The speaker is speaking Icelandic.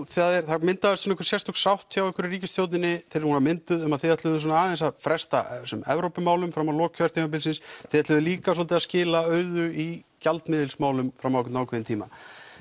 það myndaðist einhver sérstök sátt hjá ykkur í ríkisstjórninni þegar hún var mynduð um að þið ætluðuð aðeins að fresta þessum Evrópumálum fram á lok kjörtímabilsins og þið ætluðuð líka svolítið að skila auðu í gjaldmiðilsmálum fram á einhvern ákveðinn tíma